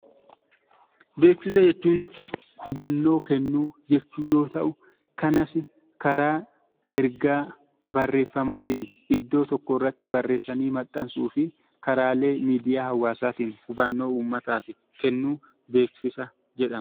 Beeksisa jechuun hubannoo kennuujechuu yoo ta'u, kanas karaa ergaa barreeffamaatiin iddoo tokkorratti barreessanii maxxansuu fi karaalee miidiyaa hawaasaatiin hubannoo uummataaf kennuun beeksisa jedhama.